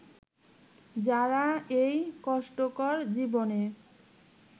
যারা এই কষ্টকর জীবনে